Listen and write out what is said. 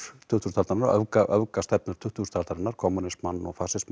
tuttugustu aldarinnar öfgastefnur tuttugustu aldarinnar kommúnismann og